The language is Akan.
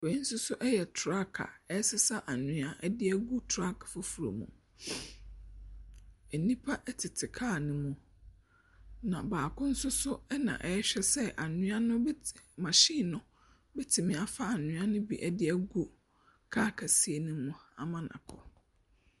Wei nso yɛ truck a ɛresesa anwea de agu truck foforɔ mu. Nnipa tete kaa no mu, na baako nso na ɔrehwɛ sɛ anwea no bɛte machine no bɛtumi afa anwea no bi de agu car kɛseɛ no mu ama no akɔ.